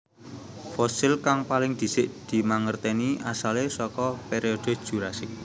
Fosil kang paling dhisik dimangertèni asalé saka periode Jurasik